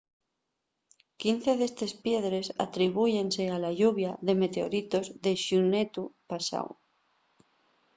quince d’estes piedres atribúyense a la lluvia de meteoritos de xunetu pasáu